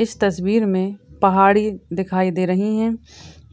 इस तस्वीर में पहाड़ी दिखाई दे रही है